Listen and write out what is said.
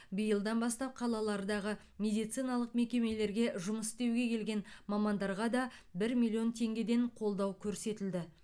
биылдан бастап қалалардағы медициналық мекемелерге жұмыс істеуге келген мамандарға да бір миллион теңгеден қолдау көрсетілді